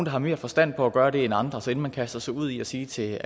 har mere forstand på at gøre det end andre så inden man kaster sig ud i at sige til